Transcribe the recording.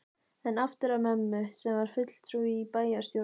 En aftur að mömmu, sem var fulltrúi í bæjarstjórn